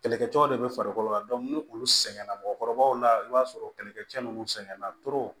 Kɛlɛkɛcɛw de be farikolo la ni olu sɛgɛnna mɔgɔkɔrɔbaw la i b'a sɔrɔ kɛlɛkɛcɛ ninnu sɛgɛnna